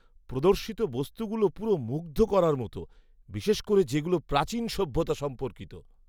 প্রদর্শিত বস্তুগুলো পুরো মুগ্ধ করার মতো, বিশেষ করে যেগুলো প্রাচীন সভ্যতা সম্পর্কিত।